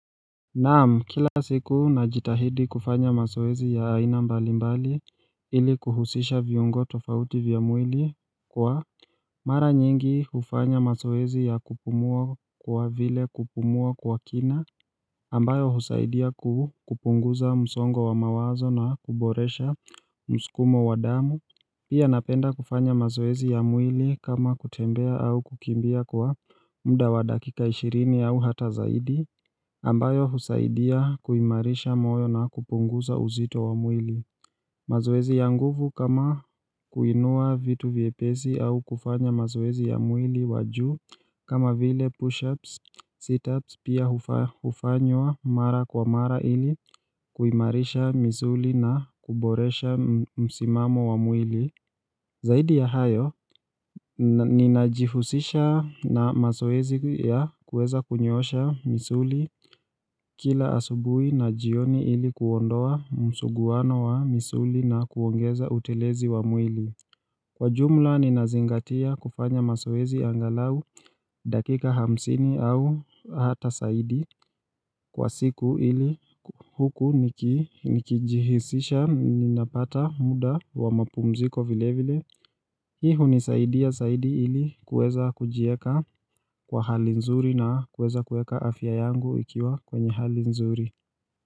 Naam, kila siku najitahidi kufanya mazoezi ya aina mbalimbali ili kuhusisha viungo tofauti vya mwili kwa mara nyingi ufanya mazoezi ya kupumua kwa vile kupumua kwa kina ambayo huzaidia kupunguza msongo wa mawazo na kuboresha mskumo wa damu Pia napenda kufanya mazoezi ya mwili kama kutembea au kukimbia kwa muda wa dakika ishirini au hata zaidi ambayo huzaidia kuimarisha moyo na kupunguza uzito wa mwili mazoezi ya nguvu kama kuinua vitu vyepezi au kufanya mazoezi ya mwili wa juu kama vile push-ups, sit-ups pia hufanywa mara kwa mara ili kuimarisha misuli na kuboresha msimamo wa mwili. Zaidi ya hayo Ninajihusisha na mazoezi ya kuweza kunyoosha misuli kila asubui na jioni ili kuondoa msuguwano wa misuli na kuongeza utelezi wa mwili Kwa jumla ninazingatia kufanya mazoezi angalau dakika hamsini au hata saidi kwa siku ili huku nikijihisisha ninapata muda wa mapumziko vile vile Hii uzaidi ya zaidi ili kueza kujieka kwa hali nzuri na kueza kueka afya yangu ikiwa kwenye hali nzuri.